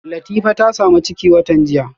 Latifa ta samu ciki a watan jiya